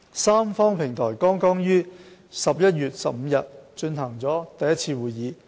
三方平台剛於11月15日進行第一次會議。